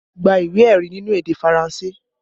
Gba ìwé ẹ̀rí nínú èdè Faranse!